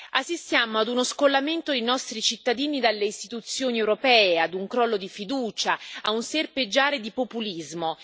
Assistiamo ad uno scollamento dei nostri cittadini dalle istituzioni europee, a un crollo di fiducia e a un serpeggiare di populismo.